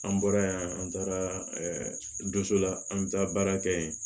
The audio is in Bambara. An bɔra yan an taara donso la an bɛ taa baara kɛ yen